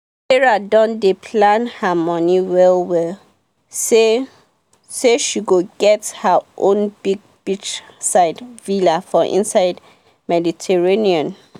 sarah don dey plan her money well well say say she go get her own big beachside villa for inside mediterranean.